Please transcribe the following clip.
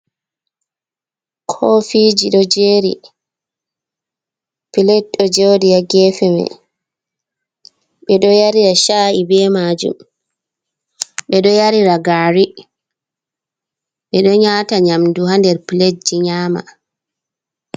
Koofiji ɗo jeeri pilate ɗo jeeri ha geefe mai, ɓe ɗo yarira sha’i be majum, ɓe ɗo yarira gaari, ɓe ɗo wata nyamdu ha nder pilate ji nyama.